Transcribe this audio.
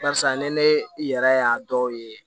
Barisa ni ne yɛrɛ y'a dɔw ye